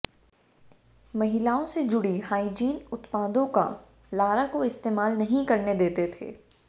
महिलाओं से जुड़ी हुई हाईजीन उत्पादों का लारा को इस्तेमाल नहीं करने देते थे